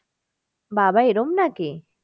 বাবা এরম নাকি?